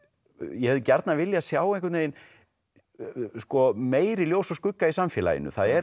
ég hefði gjarnan viljað sjá meiri ljós og skugga í samfélaginu það er